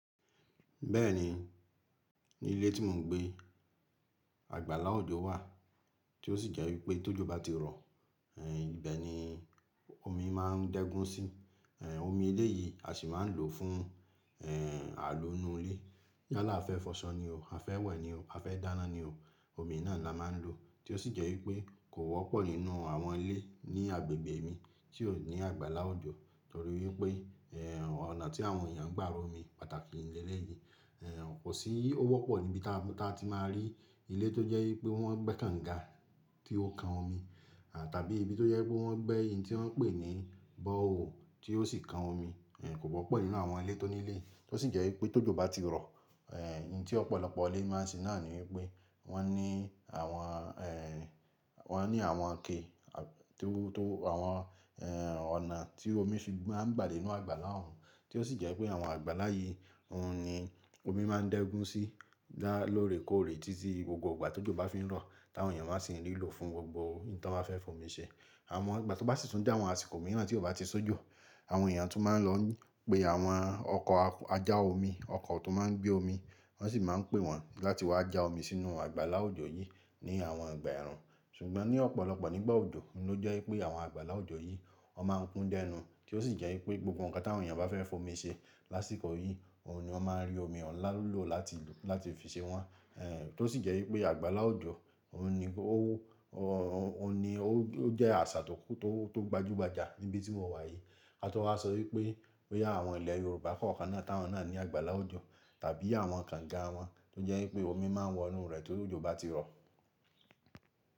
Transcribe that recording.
Bẹ́ẹ̀ni, ní ilé tí mò ń gbé, àgbàlá òjò wà tí ó sì jẹ́ wípé tó jọba ti rọ̀, ẹ́ ìbẹ́ ni omi máa ń dẹ́gun sí. Ẹ̀ omi ilé yìí a sì máa ń lò fún, ẹ́ àlò inú ilé. Yálà fẹ́ fọṣọ ni o, a fẹ́ wẹ̀ ni o, a fẹ́ dáná ni o, omi náà ni a máa ń lò. Tí ó sì jẹ́ wípé kò wọ́pọ̀ nínú àwọn ilé ní agbègbè mi tí ò ní àgbàlá òjò torí wípé, ẹ́ ọ̀nà tí àwọn èèyàn ń gbà ro omi pàtàkì ní ilẹ̀ yìí, ẹ́ kò sí, ó wọ́pọ̀ níbi táa ti máa rí ilé tó jẹ́ wípé wọ́n gbẹ́ kànga tí ó kan omi, à tàbí ibi tó jẹ́ wípé wọ́n gbẹ́ eyín tí wọ́n ń pè ní bọ̀wọ̀ tí ó sì kan omi. Ẹ́ kò wọ́pọ̀ nínú àwọn ilé tó nílé. Tí ó sì jẹ́ wípé tó jọba ti rọ̀, ẹ́ eyín tí ọ̀pọ̀lọpọ̀ ilé máa ń ṣe náà ni wípé wọ́n ní àwọn, ẹ́ wọ́n ní àwọn ike, à tíú tó àwọn, ẹ́ ọ̀nà tí omi fi máa ń gbà dé inú àgbàlá òun. Tí ó sì jẹ́ wípé àwọn àgbàlá yìí, òun ni omi máa ń dẹ́gun sí dá lóòrè kóòrè títí gbogbo ìgbà tó jọba fi ń rọ̀ táwọn èèyàn máa ń sì ń lò fún gbogbo eyín tí wọ́n bá fẹ́ fomi ṣe. Àmọ́ ìgbà tó bá sì tún jẹ́ àwọn àsìkò mìíràn tí ò bá ti sójọ, àwọn èèyàn tún máa ń lọ pè àwọn ọkọ̀ ajá omi, ọkọ̀ tó máa ń gbé omi, wọ́n sì máa ń pè wọ́n láti wá já omi sínú àgbàlá òjò yìí ní àwọn ìgbà ẹ̀rùn. Ṣùgbọ́n ní ọ̀pọ̀lọpọ̀ nígbà òjò, ló jẹ́ wípé àwọn àgbàlá òjò yìí, ó máa ń kún dẹ́nu. Kí ó sì jẹ́ wípé gbogbo nǹkan tí àwọn èèyàn bá fẹ́ fomi ṣe lásìkò yìí, òun ni wọ́n máa ń rí omi ọ̀nlá lọ́ lọ láti lò láti fi ṣe wọ́n. Ẹ̀ tó sì jẹ́ wípé àgbàlá òjò, òun ni ó, òun ni ó jẹ́ àṣà tó gbajúgbajà níbi tí mo wà yìí. A tó máa sọ wípé pé àwọn ilẹ̀ Yorùbá kọ̀ọ̀kan náà táwọn náà ní àgbàlá òjò tàbí àwọn kànga wọn tó jẹ́ wípé omi máa ń wọ inú rẹ̀ tó jọba ti rọ̀.